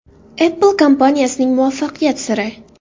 Apple kompaniyasining muvaffaqiyat siri.